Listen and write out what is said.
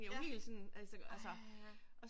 Ja, ej